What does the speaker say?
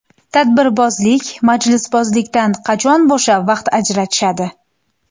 Tadbirbozlik, majlisbozlikdan qachon bo‘shab, vaqt ajratishadi?